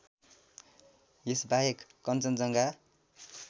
यस बाहेक कञ्चनजङ्घा